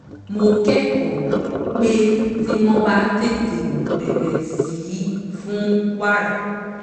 mo kẹ́kọ̀ọ́ pé tí wọ́n bá tètè bẹ̀rẹ̀ sí fún wàrà